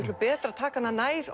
betra að taka hana nær